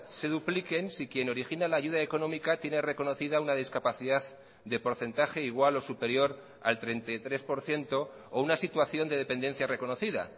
se dupliquen si quien origina la ayuda económica tiene reconocida una discapacidad de porcentaje igual o superior al treinta y tres por ciento o una situación de dependencia reconocida